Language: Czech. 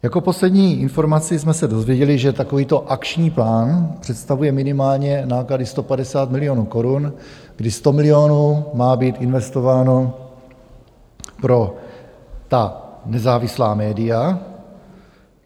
Jako poslední informaci jsme se dozvěděli, že takovýto akční plán představuje minimálně náklady 150 milionů korun, kdy 100 milionů má být investováno pro ta nezávislá média.